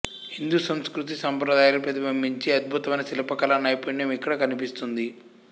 హిందూ సంస్కృతీ సంప్రదాయాలు ప్రతిబింబించే అద్భుతమైన శిల్పకళా నైపుణ్యం ఇక్కడ కనిపిస్తుంది